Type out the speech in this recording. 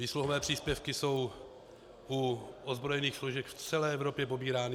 Výsluhové příspěvky jsou u ozbrojených složek v celé Evropě pobírány.